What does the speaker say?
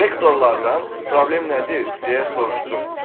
Direktorlardan problem nədir deyə soruşdum.